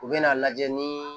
U bɛ n'a lajɛ ni